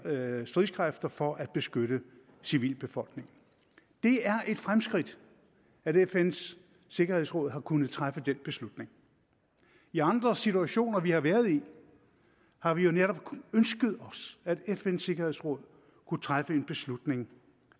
stridskræfter for at beskytte civilbefolkningen det er et fremskridt at fn’s sikkerhedsråd har kunnet træffe den beslutning i andre situationer vi har været i har vi jo netop ønsket os at fn’s sikkerhedsråd kunne træffe en beslutning